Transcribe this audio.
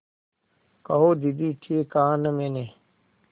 कहो दीदी ठीक कहा न मैंने